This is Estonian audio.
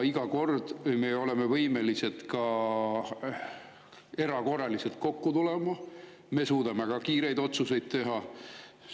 Iga kord me oleme võimelised ka erakorraliselt kokku tulema, me suudame ka kiireid otsuseid teha.